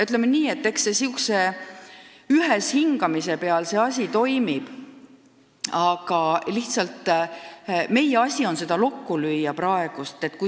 Ütleme nii, et asi toimib nn üheshingamise peal, ja nii ongi meie asi praegu lokku lüüa.